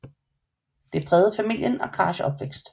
Det prægede familien og Karshs opvækst